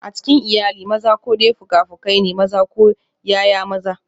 A cikin iyali, maza ko dai fuka-fukai ne, maza ko ’ya’ya maza.